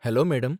Hello madam.